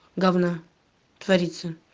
говна творится